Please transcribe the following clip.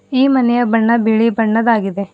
ಈ ಮನೆಯ ಬಣ್ಣ ಬಿಳಿ ಬಣ್ಣದ್ದಾಗಿದೆ.